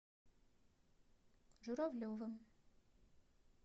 журавлевым